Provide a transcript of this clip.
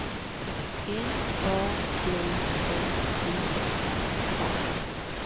M A D E I R A